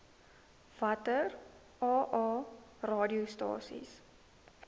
watter aa radiostasies